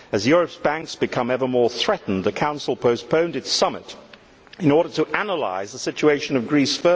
As Europe's banks become ever more threatened, the Council postponed its summit in order to further analyse the situation of Greece.